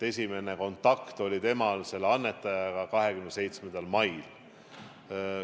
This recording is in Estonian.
Esimene kontakt oli temal selle annetajaga 27. mail.